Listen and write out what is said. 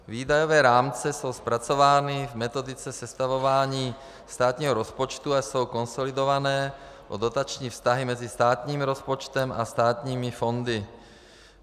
Výdajové rámce jsou zpracovány v metodice sestavování státního rozpočtu a jsou konsolidované o dotační vztahy mezi státním rozpočtem a státními fondy.